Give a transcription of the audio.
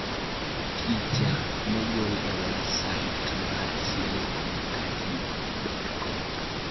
Picha mogol e websait mar SiliconCaribe.com.